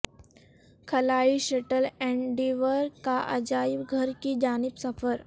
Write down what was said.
خلائی shuttle Endeavour کا عجائب گھر کی جانب سفر